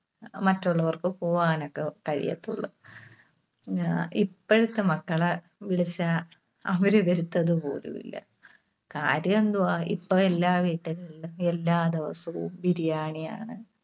മറ്റുള്ളവർക്ക് പോവാനൊക്കെ കഴിയത്തുള്ളൂ. പിന്നെ ഇപ്പഴത്തെ മക്കള് വിളിച്ചാ അവര് വരത്തതുപോലുമില്ല. കാര്യമെന്തുവാ? ഇപ്പോ എല്ലാ വീട്ടിലും അല്ലെങ്കി എല്ലാ ദിവസവും Biriyani ആണ്.